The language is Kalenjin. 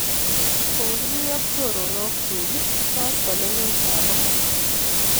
Kokimi ak choronok chuk koskoling'ut ap amut